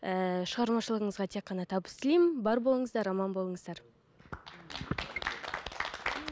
ііі шығармашылығыңызға тек қана табыс тілеймін бар болыңыздар аман болыңыздар